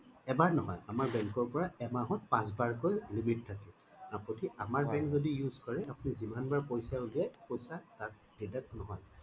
এবাৰ নহয় আমাৰ bank ৰ পৰা এমাহত পাঁচ বাৰকৈ limit থাকে আপুনি আমাৰ bank যদি use কৰে আপুনি যিমান বাৰ পইছা উলিয়াই পইছা তাত deduct নহয়